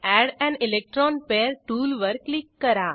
add an electron pair टूलवर click करा